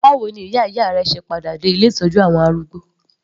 Báwo ni ìyá ìyá rẹ se padà dé ilé ìtọ́jú àwọn arúgbó?